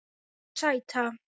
Nei, sæta.